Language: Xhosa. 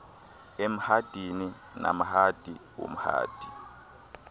emhadini namhadi umhadi